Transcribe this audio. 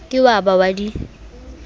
ke wa ba wa di